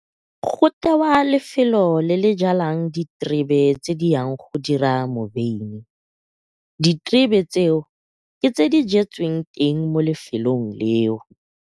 Go tewa lefelo le le jalang diterebe tse di yang go dira mobeini. Diterebe tseo, ke tse di jetsweng teng mo lefelong leo.